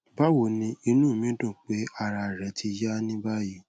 bawoni inu mi dun pe ara re ti ya ni bayi